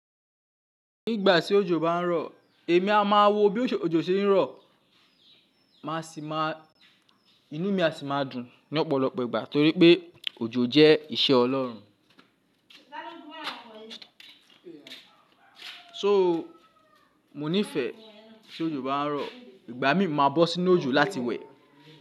Nígbà tí òjò bá ń rọ̀, èmi a máa wo bí òjò ṣe ń rọ̀, màá sì máa, inú mi a sì máa dùn ní ọ̀pọ̀lọpọ̀ ìgbà torí pé òjò jẹ́ iṣẹ́ Ọlọ́run. So mo nífẹ̀ẹ́ tí òjò bá ń rọ̀, ìgbà mí máa bọ́ sínú òjò láti wẹ̀.